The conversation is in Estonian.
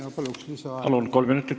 Ma palun lisaaega!